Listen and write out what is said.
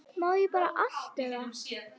Má bara allt eða?